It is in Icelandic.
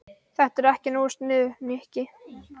Þetta er ekki nógu sniðugt, Nikki.